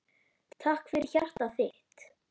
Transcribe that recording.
Takk fyrir hjartað þitt.